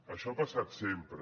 això ha passat sempre